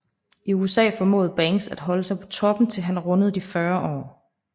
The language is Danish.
I USA formåede Banks at holde sig på toppen til han rundede de 40 år